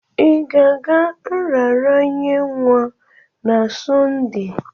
Ị ga-aga nraranye nwa na Sọnde?